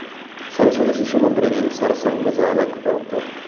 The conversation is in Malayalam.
സരസ്വതി ശിശുമന്ദിറില്‍ സര്‍സംഘചാലക് ഡോ